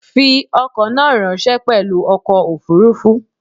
Fi ọkọ̀ náà ráńṣẹ́ pelu ọkọ̀ òfuurufú.